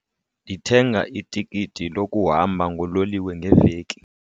Ndithenga itikiti lokuhamba ngololiwe ngeveki.